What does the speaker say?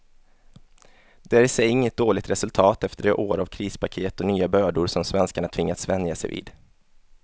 Det är i sig inget dåligt resultat efter de år av krispaket och nya bördor som svenskarna tvingats vänja sig vid.